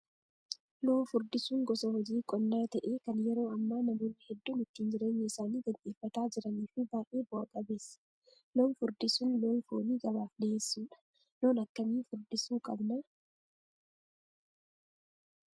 Loon furdisuun gosa hojii qonnaa ta'ee kan yeroo ammaa namoonni hedduun ittiin jireenya isaanii gaggeeffataa jiranii fi baay'ee bu'aa qabeessa. Loon furdisuun loon foonii gabaaf dhiyeessuudha. Loon akkamiin furdisuu qabnaa?